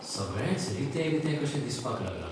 सगळेंच रितें रितें कशें दिसपाक लागलां.